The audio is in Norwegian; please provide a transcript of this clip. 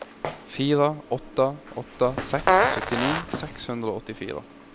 fire åtte åtte seks syttini seks hundre og åttifire